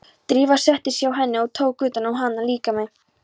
Drífa settist hjá henni og tók utan um hana, líkami